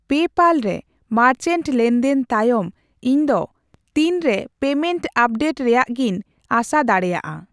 PayPal ᱨᱮ merchant ᱞᱮᱱᱫᱮᱱ ᱛᱟᱭᱚᱢ ᱤᱧ ᱫᱚ ᱛᱤᱱ ᱨᱮ ᱯᱮᱢᱮᱱᱴ ᱟᱯᱰᱮᱴ ᱨᱮᱭᱟᱜᱜᱤᱧ ᱟᱸᱥᱟ ᱫᱟᱲᱤᱭᱟᱜᱼᱟ ?